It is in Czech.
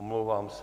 Omlouvám se.